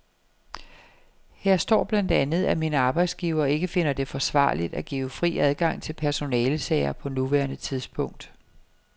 Her står blandt andet, at min arbejdsgiver ikke finder det forsvarligt at give fri adgang til personalesager på nuværende tidspunkt.